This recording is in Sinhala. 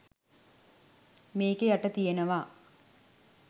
මේකෙ යට තියෙනවා